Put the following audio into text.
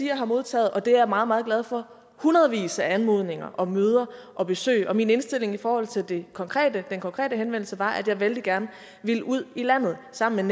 jeg har modtaget og det er jeg meget meget glad for hundredvis af anmodninger om møder og besøg og min indstilling i forhold til den konkrete konkrete henvendelse var at jeg vældig gerne ville ud i landet sammen